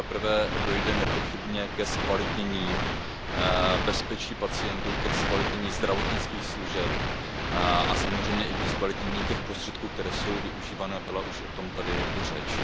Za prvé, dojde nepochybně ke zkvalitnění bezpečí pacientů, ke zkvalitnění zdravotnických služeb a samozřejmě i ke zkvalitnění těch prostředků, které jsou využívané, byla už o tom tady i řeč.